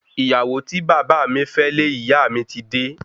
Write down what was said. Ìyàwó tí bàbá mi fẹ́ lé ìyá mi ti dé